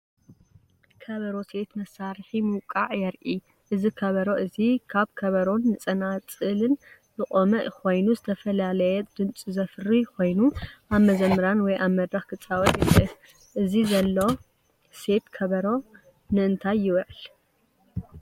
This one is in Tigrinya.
ከበሮ ሴት፣ መሳርሒ ምውቃዕ የርኢ። እዚ ከበሮ እዚ ካብ ከበሮን ጸናጽልን ዝቖመ ኮይኑ፡ ዝተፈላለየ ድምጺ ዘፍሪ ኮይኑ፡ ኣብ መዘምራን ወይ ኣብ መድረኽ ክጻወት ይኽእል። እቲ ዘሎ ሴት ከበሮ ንእንታይ ይውዕል?